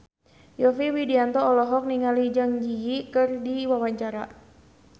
Yovie Widianto olohok ningali Zang Zi Yi keur diwawancara